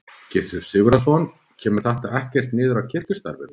Gissur Sigurðsson: Kemur þetta ekkert niður á kirkjustarfinu?